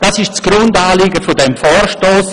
Das ist das Grundanliegen dieses Vorstosses.